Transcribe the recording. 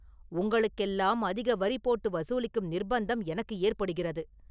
உங்களுக்கெல்லாம் அதிக வரி போட்டு வசூலிக்கும் நிர்ப்பந்தம் எனக்கு ஏற்படுகிறது.